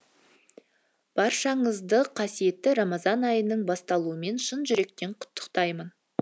баршаңызды қасиетті рамазан айының басталуымен шын жүректен құттықтаймын